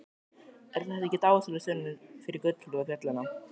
Er þetta ekki dásamleg sönnun fyrir gullroða fjallanna?